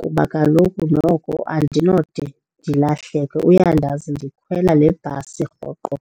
kuba kaloku noko andinode ndilahleke uyandazi ndikhwela lebhasi rhoqo.